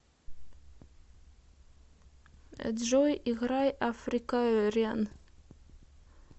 джой играй африкариан